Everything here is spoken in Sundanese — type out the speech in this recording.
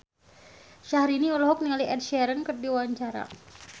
Syahrini olohok ningali Ed Sheeran keur diwawancara